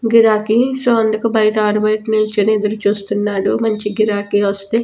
గిరాకి సో అందుకు బయట ఆరుబయట నిల్చొని ఎదురుచూస్తున్నాడు మంచి గిరాకీ వస్తే.